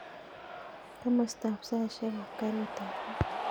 Komastab saishek ab garit ab maat